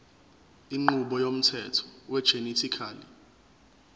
inqubo yomthetho wegenetically